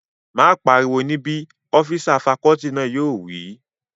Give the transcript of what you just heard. Má pariwo níbí! ọ́físà fakọọti náà yóò wí